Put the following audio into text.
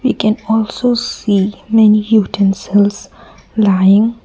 we can also see many lying.